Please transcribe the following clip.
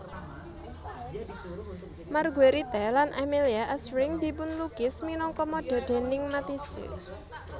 Marguerite lan Amélie asring dipunlukis minangka modè déning Matisse